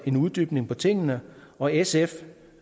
en uddybning på tingene og sf